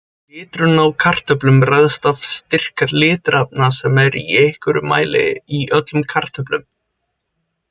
Liturinn á kartöflum ræðst af styrk litarefna sem eru í einhverjum mæli í öllum kartöflum.